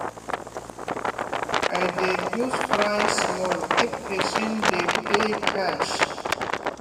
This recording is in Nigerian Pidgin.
i dey reduce price small if person dey pay cash.